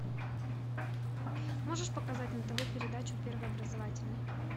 можешь показать на тв передачу первый образовательный